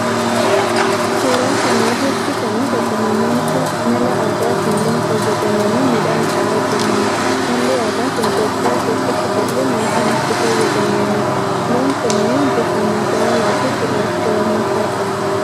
Suuraa kana irratti kana agarru namoota mala aadaatin loon fayyadamanii midhaan dha'aa jiranidha. Malli aadaa kun Itiyoophiyaa keessatti bal'inaan kan itti fayyadamaamudha. Loon kunneen bifa magaala fi gurraacha walmakaa qabu.